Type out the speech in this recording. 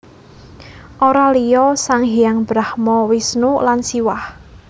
Ora liya sang hyang Brahma Wisnu lan Siwah